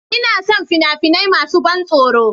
Ina son fina-finai masu ban tsoro